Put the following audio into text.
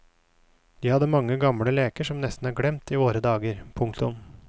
De hadde mange gamle leker som nesten er glemt i våre dager. punktum